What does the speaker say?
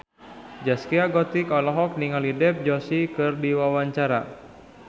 Zaskia Gotik olohok ningali Dev Joshi keur diwawancara